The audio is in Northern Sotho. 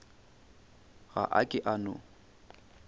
ga a ke a no